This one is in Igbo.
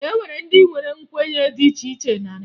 E nwere ndị nwere nkwenye dị iche iche na Naịjirịa